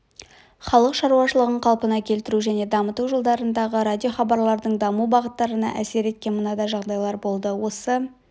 халық шаруашылығын қалпына келтіру және дамыту жылдарындағы радиохабарлардың даму бағыттарына әсер еткен мынандай жағдайлар болды осы